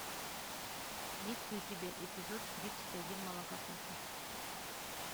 есть ли у тебя эпизод тридцать один молокососы